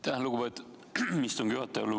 Aitäh, lugupeetud istungi juhataja!